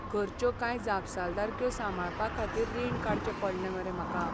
घरच्यो कांय जापसालदारक्यो सांबाळपाखातीर रीण काडचें पडलें मरे म्हाका.